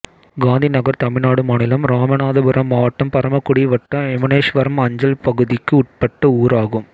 காந்திநகர் தமிழ்நாடு மாநிலம் இராமநாதபுரம் மாவட்டம் பரமக்குடி வட்டம் எமனேஸ்வரம் அஞ்சல் பகுதிக்கு உட்பட்ட ஊராகும்